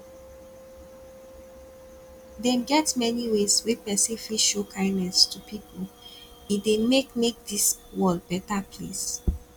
dem get many ways wey persin fit show kindness to pipo e de make make dis world better place